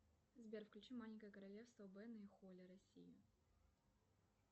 сбер включи маленькое королевство бена и холли россия